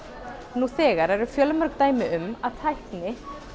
nú þegar eru fjölmörg dæmi um að tækni